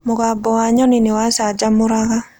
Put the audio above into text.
Mũgambo wa nyoni nĩ wamũcanjamũraga.